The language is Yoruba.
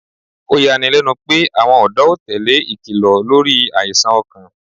Oyani lẹnu pe awọn ọ̀dọ́ o tele ikilọ lori aisan ọkan